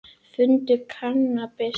Fundu kannabis